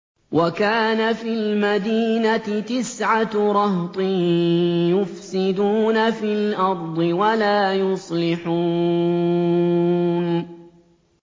وَكَانَ فِي الْمَدِينَةِ تِسْعَةُ رَهْطٍ يُفْسِدُونَ فِي الْأَرْضِ وَلَا يُصْلِحُونَ